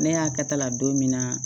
Ne y'a kɛta la don min na